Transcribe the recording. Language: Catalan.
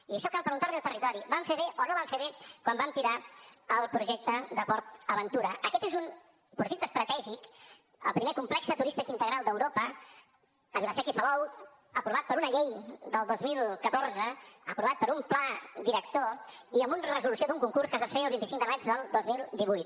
i això cal preguntar l’hi al territori vam fer bé o no vam fer bé quan vam tirar el projecte de portaventura aquest és un projecte estratègic el primer complex turístic integral d’europa a vila seca i salou aprovat per una llei del dos mil catorze aprovat per un pla director i amb una resolució d’un concurs que es va fer el vint cinc de maig del dos mil divuit